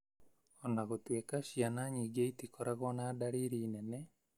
O na gũtuĩka ciana nyingĩ itikoragwo na dariri nene,